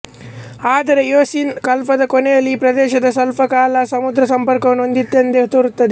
ಆದರೆ ಇಯೋಸೀನ್ ಕಲ್ಪದ ಕೊನೆಯಲ್ಲಿ ಈ ಪ್ರದೇಶ ಸ್ವಲ್ಪಕಾಲ ಸಮುದ್ರಸಂಪರ್ಕವನ್ನು ಹೊಂದಿದ್ದಂತೆ ತೋರುವುದು